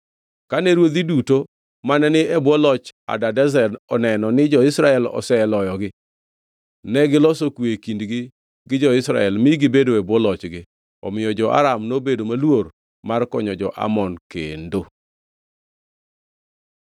Kane ruodhi duto mane ni e bwo loch Hadadezer oneno ni jo-Israel oseloyogi, negiloso kwe e kindgi gi jo-Israel mi gibedo e bwo lochgi. Omiyo jo-Aram nobedo maluor mar konyo jo-Amon kendo.